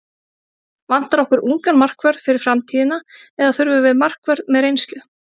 Vantar okkur ungan markvörð fyrir framtíðina eða þurfum við markvörð með reynslu?